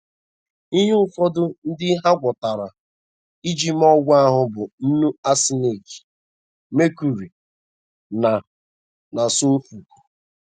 Ihe ụfọdụ ndị ha gwakọtara iji mee ọgwụ ahụ bụ nnu arsenic, mercury, na, na sọlfọ.